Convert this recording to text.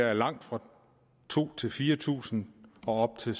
er langt fra to tusind fire tusind og op til